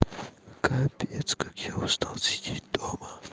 капец как я устал сидеть дома